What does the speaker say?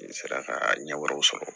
N sera ka ɲɛ wɛrɛw sɔrɔ